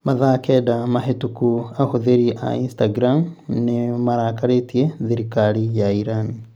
Mathaa kenda mahĩtũku ahũthĩri a Instagram nĩ marakarĩtie thirikari ya Iran.